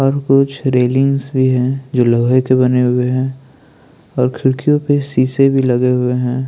और कुछ रिलिंग्स भी है जो लोहे के बने हुए है और खिडकियों पे शीशे भी लगे हुए है।